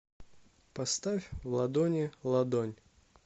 поставь в ладони ладонь